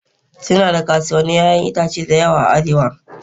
Suna da kasuwannin 'ya'yan itace da yawa a Arewa.